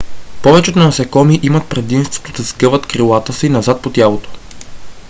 повечето насекоми имат предимството да сгъват крилата си назад по тялото